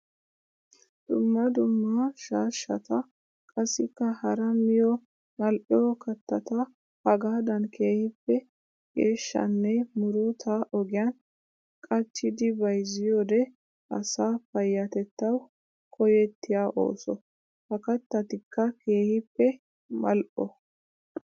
Dumma dumma shaashshatta qassikka hara miyo mali'o kattata hagaadan keehippe geeshshanne murutta ogiyan qachiddi bayzziyoode asaa payatettawu koyettiya ooso. Ha kattatikka keehippe mali'o.